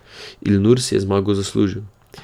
Ilnur si je zmago zaslužil.